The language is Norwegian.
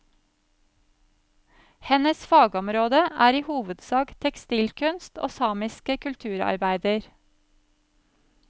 Hennes fagområde er i hovedsak tekstilkunst og samiske kulturarbeider.